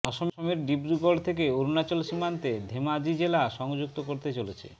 অসমের ডিব্রুগড় থেকে অরুণাচল সীমান্তে ধেমাজি জেলা সংযুক্ত করতে চলেছে